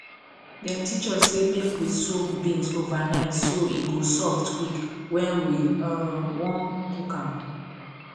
dem teach us say make we soak beans overnight so e go soft quick when we um wan cook am